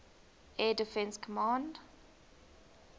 air defense command